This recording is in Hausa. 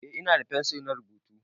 Eh ina da fensir na rubutu.